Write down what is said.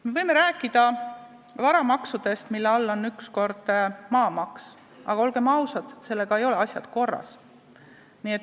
Me võime rääkida varamaksudest, mille all on ükskord maamaks, aga olgem ausad, sellega ei ole asjad korras.